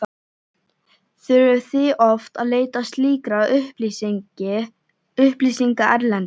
Þurfið þið oft að leita slíkra upplýsinga erlendis?